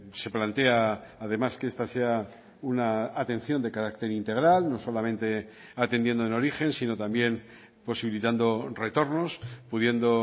se plantea además que esta sea una atención de carácter integral no solamente atendiendo en origen sino también posibilitando retornos pudiendo